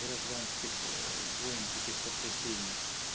гражданских войн таких потрясений